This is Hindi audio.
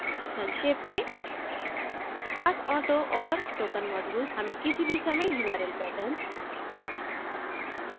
संक्षेप मेंpathauto और token modules हमें किसी भी समयurl patterns